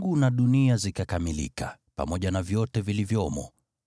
Kwa hiyo mbingu na dunia zikakamilika, pamoja na vyote vilivyomo.